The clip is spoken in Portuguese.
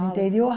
interior?